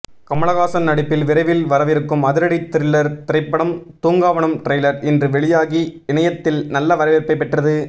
கமலஹாசன் நடிப்பில் விரைவில் வரவிருக்கும் அதிரடி த்திரிலர் திரைப்படம் தூங்காவனம் டிரைலர் இன்று வெளியாகி இணையத்தில் நல்ல வரவேற்ப்பை பெற்றது